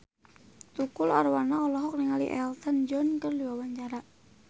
Tukul Arwana olohok ningali Elton John keur diwawancara